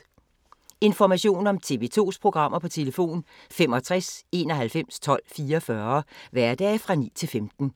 Information om TV 2's programmer: 65 91 12 44, hverdage 9-15.